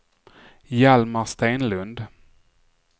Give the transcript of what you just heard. Hjalmar Stenlund